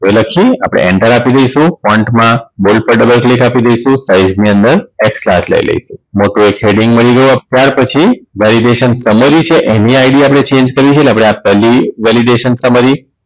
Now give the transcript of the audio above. galaxy આપણે enter આપી દઈશું point માં બોલ્ડ પર Double click આપી દઈશું સ્લાઈડ ની અંદર x ક્લાસ લઇ લેશું ત્યાર પછી Validation Summary છે એની id આપણે Change કરીશું એટલે આપણે આ પેહલી Validation Summary